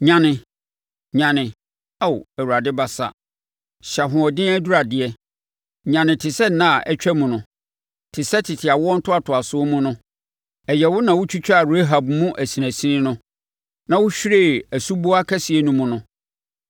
Nyane, nyane! Ao Awurade basa hyɛ ahoɔden aduradeɛ; nyane te sɛ nna a atwam no, te sɛ tete awoɔ ntoatoasoɔ mu no. Ɛnyɛ wo na wotwitwaa Rahab mu asinasini no, na wohwiree asuboa kɛseɛ no mu no?